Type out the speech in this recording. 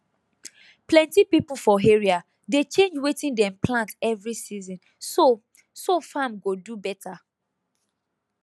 plenty people for area dey change wetin dem plant every season so so farm go do better